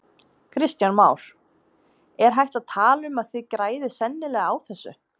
Kristján Már: Er hægt að tala um að þið græðið sennilega á þessu?